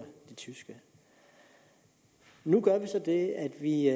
det tyske nu gør vi så det at vi